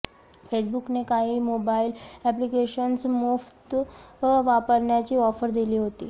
फेसबुकने काही mobile applications मोफत वापरण्याची ऑफर दिली होती